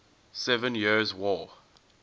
seven years war